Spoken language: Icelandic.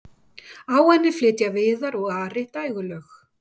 á henni flytja viðar og ari dægurlög